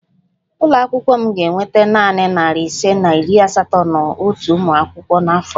Ụlọ akwụkwọ m ga-ekweta nanị narị ise na iri asatọ na otu ụmụ akwụkwọ n'afọ a